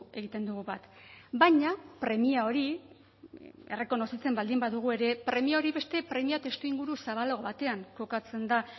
egiten dugu bat baina premia hori errekonozitzen baldin badugu ere premia hori beste premia testuinguru zabalago batean kokatzen da